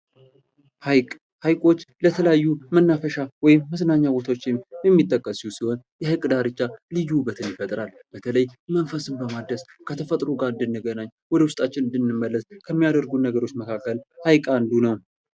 ሀይቅ ሃይቆች ለተለያዩ መናፈሻ ወይምመዝናኛ ቦታዎች የሚጠቀሱ ሲሆን የሐይቅ ዳርቻ ልዩ ዉበትን ይፈጥራል:: በተለይ መንፈስን በማደስ ከተፈጥሮ ጋር እንድንገናኝ ወደ ዉስጣችን እንድንመለስ ከሚያደርጉን መካከል ሀይቅ አንዱ ነው:+